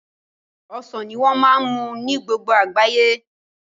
Ọsàn ní wọ́n á ma mú ní gbogbo àgbáyé